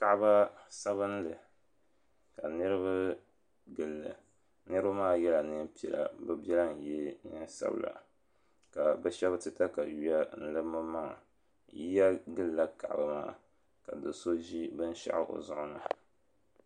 Kaba sabinli ka niriba gili li niriba maa yela nɛma piɛla bi bɛla n ye nɛma sabila ka bi shɛba ti katayua n lim bi maŋa yiya gili la kaba maa ka do so zi bini shaɣu o zuɣu ni.